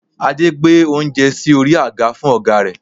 Adé gbé oúnjẹ sí orí àga fún ọ̀gá rẹ̀